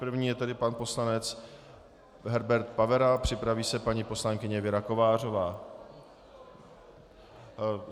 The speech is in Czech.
První je tedy pan poslanec Herbert Pavera, připraví se paní poslankyně Věra Kovářová.